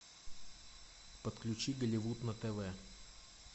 подключи голливуд на тв